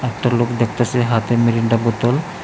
একটা লোক দেখতাসে হাতে মিরিন্ডা বোতল ।